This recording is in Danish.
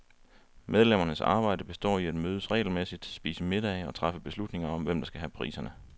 Medlemmernes arbejde består i at mødes regelmæssigt, spise middage og træffe beslutninger om, hvem der skal have priserne.